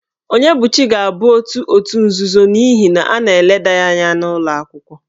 Onyebuchi ga-abụ otu òtù nzuzo n'ihi na a na-eleda ya anya n'ụlọ akwụkwọ.